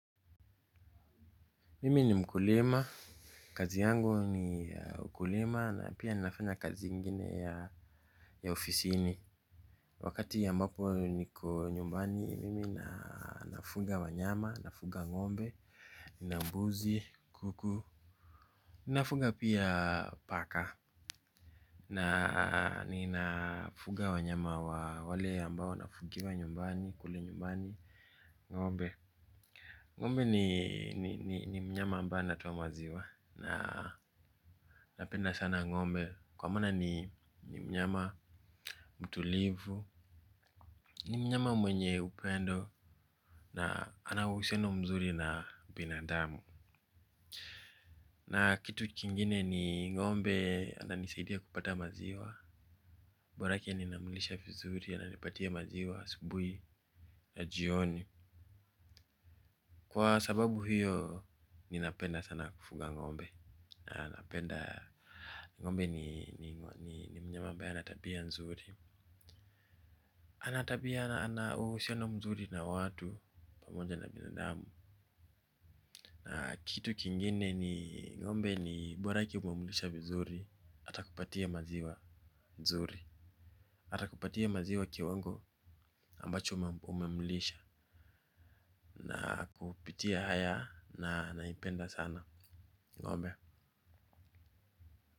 Mimi ni mkulima, kazi yangu ni ukulima na pia ninafanya kazi ingine ya ofisini. Wakati ambapo niko nyumbani, mimi nafuga wanyama, nafuga ng'ombe na mbuzi, kuku. Ninafuga pia paka na ninafuga wanyama wa wale ambao nafugia nyumbani, kule nyumbani, ng'ombe. Ngombe ni mnyama ambaye anatoa maziwa na napenda sana ng'ombe. Kwa mana ni mnyama mtulivu, ni mnyama mwenye upendo na ana uhusiano mzuri na binadamu. Na kitu kingine ni ng'ombe ananisaidia kupata maziwa, borake ninamlisha vizuri ananipatia maziwa asubuhi na jioni. Kwa sababu hiyo ninapenda sana kufuga ng'ombe napenda ng'ombe ni mnyama ambaye ana tabia nzuri ana uhusiano mzuri na watu pamoja na binadamu. Na kitu kingine ni ngombe ni borake umemlisha mzuri. Atakupatia maziwa nzuri atakupatia maziwa kiwango ambacho umemlisha. Na kupitia haya na naipenda sana. Ng'ombe.